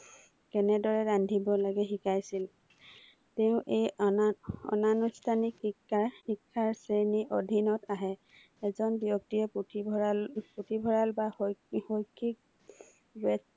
কেনেদৰে ৰান্ধিব লাগে শিকাইছিল, তেওঁ এই আনা, অনানুষ্ঠানিক শিক্ষাৰ শ্ৰেণীৰ অধিনত আহে, এজন ব্যক্তিয়ে পুথিভৰালপুথিভৰাল বা শৈক্ষিক ব্যক্তি